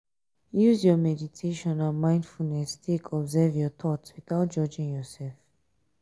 use meditation and mindfulness take observe your thought without judging yourself